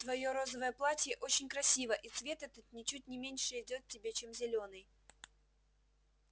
твоё розовое платье очень красиво и цвет этот ничуть не меньше идёт тебе чем зелёный